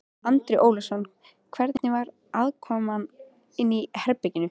Andri Ólafsson: Hvernig var aðkoman inni í herberginu?